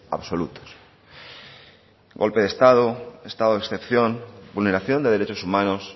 absolutos golpe de estado estado de excepción vulneración de derechos humanos